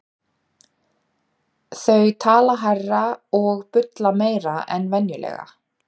Þau tala hærra og bulla meira en venjulega.